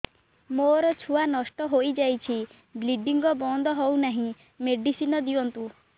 ମୋର ଛୁଆ ନଷ୍ଟ ହୋଇଯାଇଛି ବ୍ଲିଡ଼ିଙ୍ଗ ବନ୍ଦ ହଉନାହିଁ ମେଡିସିନ ଦିଅନ୍ତୁ